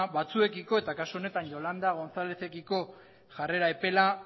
batzuekiko eta kasu honetan yolanda gonzalezekiko jarrera epela